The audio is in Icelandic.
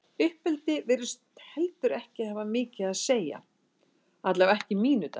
Uppeldi virðist heldur ekki hafa mikið að segja, allavega ekki í mínu dæmi.